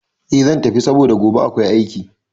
Eh zan tafi saboda gobe akwai aiki